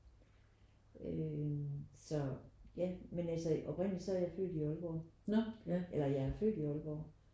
Øh så ja men altså oprindeligt så er jeg født i Aalborg eller jeg er født i Aalborg